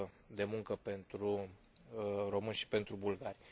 de muncă pentru români și pentru bulgari.